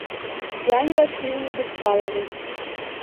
диане васильевне беспаловой